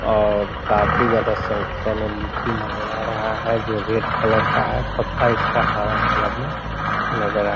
और काफी ज्यादा संख्या में लीची नजर आ रहा है जो रेड कलर का है पत्ता इसका हरा कलर में नजर आ --